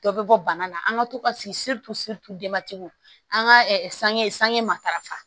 Dɔ bɛ bɔ bana la an ka to ka an ka sange sange matarafa